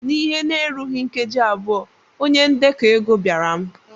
N'ihe na-erughị nkeji abụọ, onye ndekọ ego bịara m.